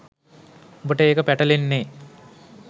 උබට ඒක පැටලෙන්නේ